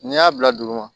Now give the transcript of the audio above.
N'i y'a bila dugu ma